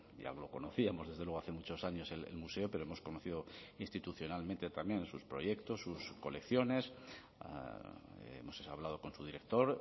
ya lo conocíamos desde luego hace muchos años el museo pero hemos conocido institucionalmente también sus proyectos sus colecciones hemos hablado con su director